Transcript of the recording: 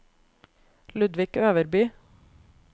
Ludvig Øverby